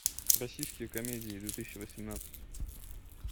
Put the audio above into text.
российские комедии две тысячи восемнадцать